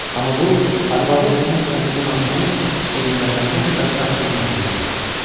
Amma bu, arvadı onun əlindən alsanız, o dünyada ən bədbəxt bir məxluq olar.